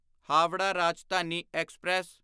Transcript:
Howrah Rajdhani express